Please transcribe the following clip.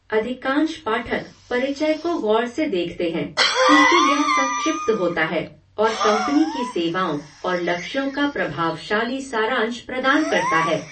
अधिकांश पाठक परिचय को गौर से देखते हैं, क्योंकि यह संक्षिप्त होता है और कंपनी की सेवाओं और लक्ष्यों का प्रभावशाली सारांश प्रदान करता है।